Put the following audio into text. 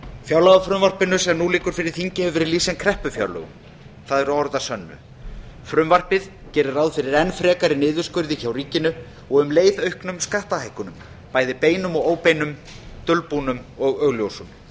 fjárlagafrumvarpinu sem nú liggur fyrir þingi hefur verið lýst sem kreppufjárlögum það eru orð að sönnu frumvarpið gerir ráð fyrir enn frekari niðurskurði hjá ríkinu og um leið auknum skattahækkunum bæði beinum og óbeinum dulbúnum og augljósum